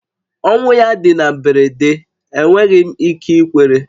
Ọnwụ ya dị na mberede, enweghị m ike ikwere